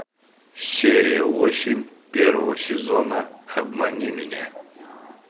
серия восемь первого сезона обмани меня